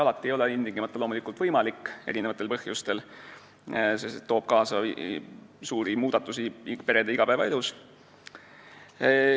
Alati ei ole see loomulikult võimalik, mitmesugustel põhjustel, sest see toob kaasa suuri muudatusi perede igapäevaelus.